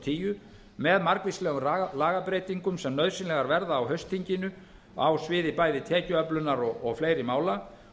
tíu með margvíslegum lagabreytingum sem nauðsynlegar verða á haustþinginu á sviði bæði tekjuöflunar og fleiri mála